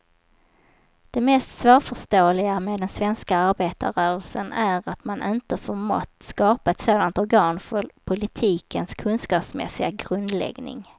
Det mest svårförståeliga med den svenska arbetarrörelsen är att man inte förmått skapa ett sådant organ för politikens kunskapsmässiga grundläggning.